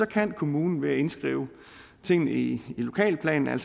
kan kommunen ved at indskrive tingene i lokalplanen